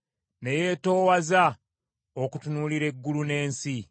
ne yeetoowaza okutunuulira eggulu n’ensi?